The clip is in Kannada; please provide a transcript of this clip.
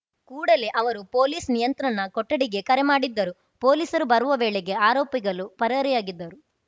ಕೂಡಲೇ ಅವರು ಪೊಲೀಸ್‌ ನಿಯಂತ್ರಣ ಕೊಠಡಿಗೆ ಕರೆ ಮಾಡಿದ್ದರು ಪೊಲೀಸರು ಬರುವ ವೇಳೆಗೆ ಆರೋಪಿಗಳು ಪರಾರಿಯಾಗಿದ್ದರು